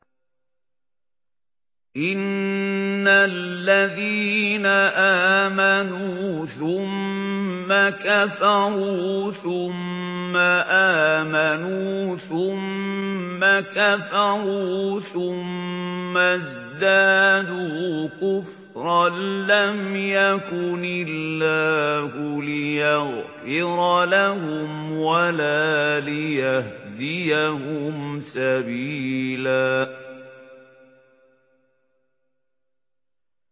إِنَّ الَّذِينَ آمَنُوا ثُمَّ كَفَرُوا ثُمَّ آمَنُوا ثُمَّ كَفَرُوا ثُمَّ ازْدَادُوا كُفْرًا لَّمْ يَكُنِ اللَّهُ لِيَغْفِرَ لَهُمْ وَلَا لِيَهْدِيَهُمْ سَبِيلًا